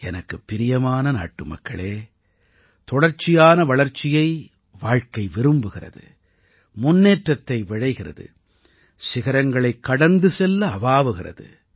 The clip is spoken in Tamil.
எனக்குப் பிரியமான நாட்டுமக்களே தொடர்ச்சியான வளர்ச்சியை வாழ்க்கை விரும்புகிறது முன்னேற்றத்தை விழைகிறது சிகரங்களைக் கடந்து செல்ல அவாவுகிறது